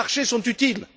Les marchés sont utiles.